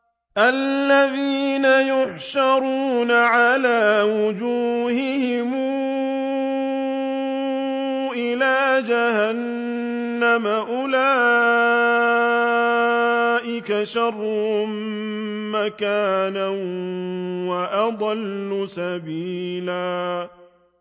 الَّذِينَ يُحْشَرُونَ عَلَىٰ وُجُوهِهِمْ إِلَىٰ جَهَنَّمَ أُولَٰئِكَ شَرٌّ مَّكَانًا وَأَضَلُّ سَبِيلًا